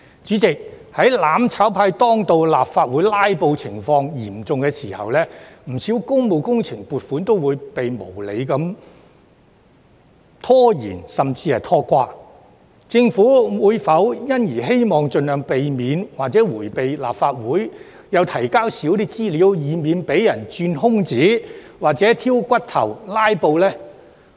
主席，在"攬炒派"當道，立法會"拉布"情況嚴重的時候，不少工務工程撥款均被無理拖延甚至拖垮，政府是否因而希望盡量迴避立法會，並提交少一些資料，以免被人鑽空子、挑骨頭或"拉布"呢？